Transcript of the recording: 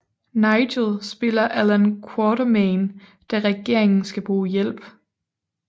Nigel spiller Allan Quatermain da regeringen skal bruge hjælp